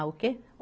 Ah, o quê?